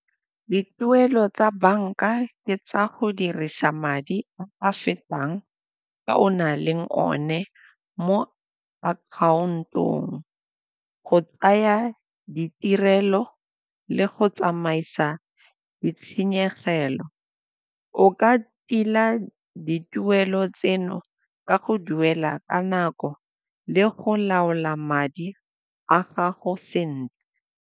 Dituelo tsa banka ke tsa go dirisa madi a fetang a o na leng one mo akhaontong go tsaya ditirelo le go tsamaisa ditshenyegelo. O ka tila dituelo tseno ka go duela ka nako le go laola madi a gago sentle.